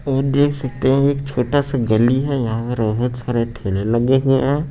ये देख सकते हैं एक छोटासा गली हैं यहां सारे ठेले लगे हुएं हैं।